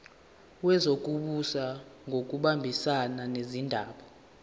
wezokubusa ngokubambisana nezindaba